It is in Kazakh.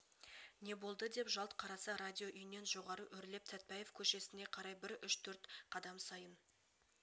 не болды деп жалт қараса радио үйінен жоғары өрлеп сәтбаев көшесіне қарай бір үш-төрт қадам сайын